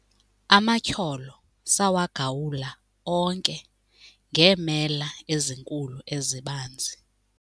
Amatyholo sawagawula onke ngeemela ezinkulu ezibanzi.